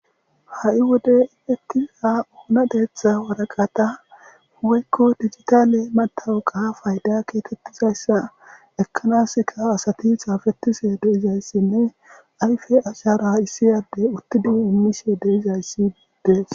ha7i wode infettiza oona deeththa waraqata woykko digitaale matawuqa fayda keetettizayssa ekkanaska asati xaafetise de7izayssinne ayfe ashara issi yade uttidi ummishe deizayssi biides